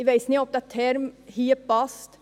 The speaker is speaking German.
Ich weiss nicht, ob dieser Term hier passt.